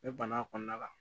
Ne bana kɔnɔna la